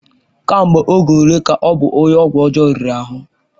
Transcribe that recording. Ka mgbe oge ole ka ọ bụ onye ọgwụ ọjọọ riri ahụ?